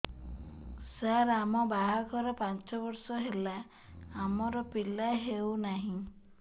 ସାର ଆମ ବାହା ଘର ପାଞ୍ଚ ବର୍ଷ ହେଲା ଆମର ପିଲା ହେଉନାହିଁ